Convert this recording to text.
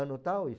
Ano tal, isso.